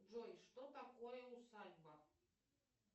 джой что такое усадьба